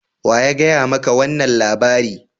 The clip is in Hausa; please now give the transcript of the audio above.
Wa ya gaya ma ka wannan labari?